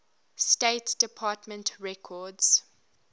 state department records